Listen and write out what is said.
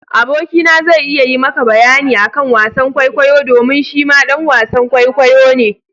Aboki na zai iya yi ma ka bayani akan wasan kwaikwayo domin shi ma ɗan wasan kwaikwayo ne.